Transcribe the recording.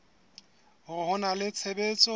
hore ho na le tshebetso